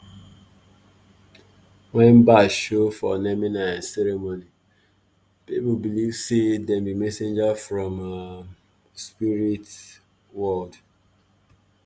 when bat show for naming um ceremony people believe say dem be messenger um from spirit world.